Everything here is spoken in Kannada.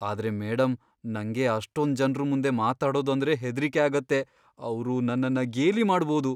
ಆದ್ರೆ ಮೇಡಂ, ನಂಗೆ ಅಷ್ಟೊಂದ್ ಜನ್ರು ಮುಂದೆ ಮಾತಾಡೋದು ಅಂದ್ರೆ ಹೆದ್ರಿಕೆ ಆಗತ್ತೆ. ಅವ್ರು ನನ್ನನ್ನ ಗೇಲಿ ಮಾಡ್ಬೋದು.